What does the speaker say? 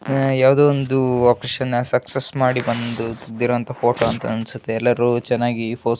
ಯಾವ್ದೋ ಒಂದು operation success ಆಗಿ ಬಂದು ತೆಗ್ದಿರೋ ಫೋಟೋ ಅನಿಸುತ್ತ್ತೆ ಎಲ್ಲರೂ ಚೆನ್ನಾಗಿ ಫೋಸ್ ಕೊಟ್ಟಿದಾರೆ.